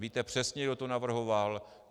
Víte přesně, kdo to navrhoval.